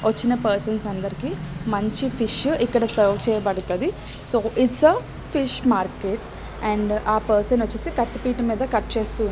వచ్చిన పర్సన్స్ అందరికి మంచి ఫిష్ ఇక్కడ సర్వ్ చేయబడతాది. సో ఇట్స్ ఆ ఫిష్ మార్కెట్ అండ్ ఆ పర్సన్ వచ్చేసి కత్తి పీట మీద కట్ చేస్తూ ఉన్నారు.